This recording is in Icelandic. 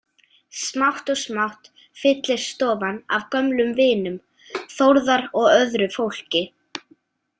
Smátt og smátt fyllist stofan af gömlum vinum Þórðar og öðru fólki.